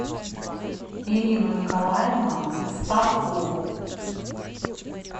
ирину николаевну старкову